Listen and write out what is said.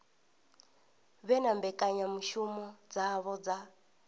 vhe na mbekanyamushumo dzavho dza